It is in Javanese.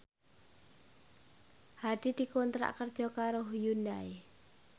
Hadi dikontrak kerja karo Hyundai